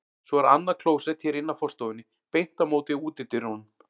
Svo er annað klósett hér inn af forstofunni, beint á móti útidyrunum.